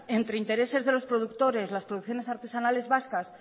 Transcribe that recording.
entre intereses de los productores las producciones artesanales vascas